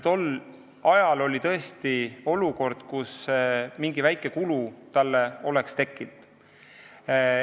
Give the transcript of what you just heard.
Tol ajal oli tõesti olukord, kus mingi väike kulu oleks tekkinud.